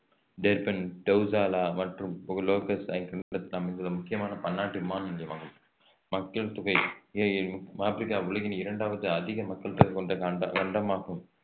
Durban டவுசலா மற்றும் Lagos முக்கியமான பன்னாட்டு விமான நிலையமாகும் மக்கள் தொகை ஆப்ரிக்கா உலகின் இரண்டாவது அதிக மக்கள் தொகை கொண்ட கண்ட~ கண்டமாகும்